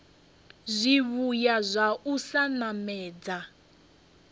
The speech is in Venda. zwivhuya zwa u sa namedza